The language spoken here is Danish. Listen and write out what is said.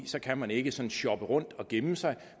så kan man ikke sådan shoppe rundt og gemme sig